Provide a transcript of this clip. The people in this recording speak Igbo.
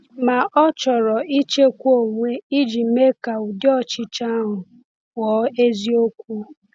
Ma ọ chọrọ ịchịkwa onwe iji mee ka ụdị ọchịchọ ahụ ghọọ eziokwu.